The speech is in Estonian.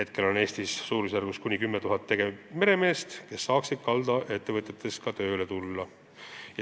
Praegu on Eestis suurusjärgus 10 000 tegevmeremeest, kes saaksid kaldaettevõtetesse tööle tulla.